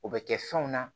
O bɛ kɛ fɛnw na